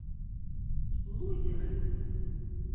лузеры